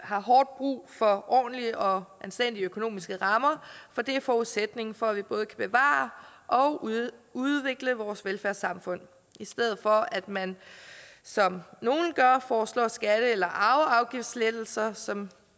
har hårdt brug for ordentlige og anstændige økonomiske rammer for det er forudsætningen for at vi både kan bevare og udvikle vores velfærdssamfund i stedet for at man som nogle gør foreslår skatte eller arveafgiftslettelser som